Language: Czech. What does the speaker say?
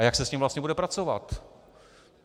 A jak se s ním vlastně bude pracovat?